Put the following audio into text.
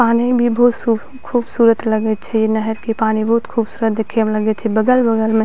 पानी भी बहुत सूफ खूबसूरत लगे छै इ नहर के पानी बहुत खूबसूरत देखे में लगे छै बगल-बगल में --